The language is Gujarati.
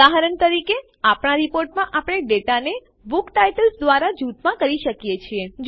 ઉદાહરણ તરીકે આપણા રીપોર્ટમાં આપણે ડેટાને બુક ટાઇટલ્સ દ્વારા જુથમાં કરી શકીએ છીએ